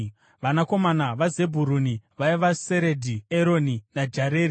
Vanakomana vaZebhuruni vaiva: Seredhi, Eroni naJareri.